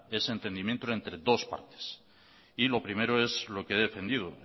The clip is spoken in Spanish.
ese entendimiento entre dos partes lo primero es lo que he defendido